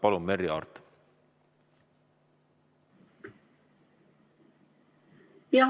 Palun, Merry Aart!